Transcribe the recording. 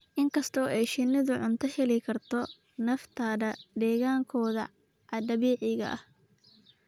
Inkasta oo ay shinnidu cunto ka heli karto nafteeda deegaankooda dabiiciga ah.